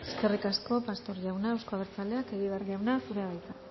eskerrik asko pastor jauna euzko abertzaleak egibar jauna zurea da hitza